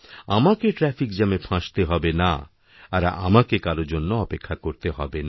আমাকে ট্র্যাফিক জ্যামে ফাঁসতে হবে না আর আমাকেকারও জন্য অপেক্ষা করতে হবে না